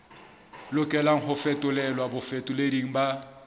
lokelang ho fetolelwa bafetoleding ba